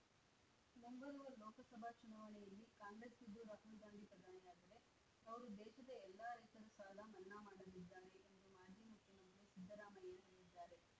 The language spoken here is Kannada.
ಮುಂಬರುವ ಲೋಕಸಭಾ ಚುನಾವಣೆಯಲ್ಲಿ ಕಾಂಗ್ರೆಸ್‌ ಗೆದ್ದು ರಾಹುಲ್‌ ಗಾಂಧಿ ಪ್ರಧಾನಿಯಾದರೆ ಅವರು ದೇಶದ ಎಲ್ಲಾ ರೈತರ ಸಾಲ ಮನ್ನಾ ಮಾಡಲಿದ್ದಾರೆ ಎಂದು ಮಾಜಿ ಮುಖ್ಯಮಂತ್ರಿ ಸಿದ್ದರಾಮಯ್ಯ ಹೇಳಿದ್ದಾರೆ